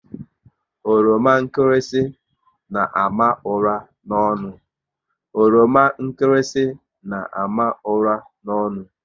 Oroma nkịrịsị n' àmà ụra n'ọnụ